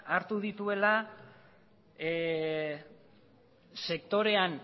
hartu dituela sektorean